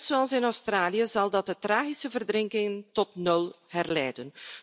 Net zoals in Australië zal dat de tragische verdrinking tot nul herleiden.